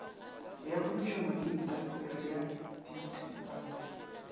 ya kgwebišano le intaseteri dti